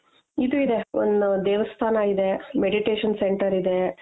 ಇದು ಇದೆ ಒಂದ್ ದೇವಸ್ಥಾನ ಇಧೆ meditation Center ಇದೆ.